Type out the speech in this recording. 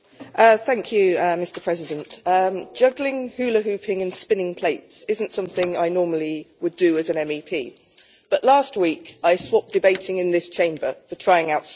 Mr President, juggling, hula hooping and spinning plates is not something I would normally do as an MEP, but last week I swapped debating in this Chamber for trying out circus skills.